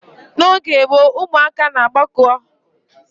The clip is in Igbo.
N'oge gboo, ụmụaka na agbako oge ọnwa na-eti were gere akụkọ ifo ndị okenye na-akọrọ ha